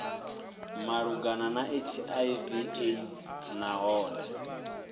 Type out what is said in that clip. malugana na hiv aids nahone